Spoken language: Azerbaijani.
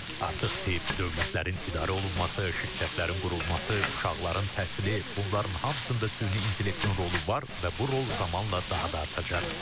Artıq tibb, dövlətlərin idarə olunması, şirkətlərin qurulması, uşaqların təhsili, bunların hamısında süni intellektin rolu var və bu rol zamanla daha da artacaq.